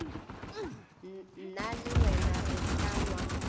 nna le wena re panwa